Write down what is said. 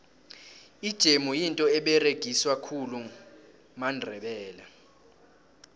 ijemu yinto eberegiswa khulu mandebele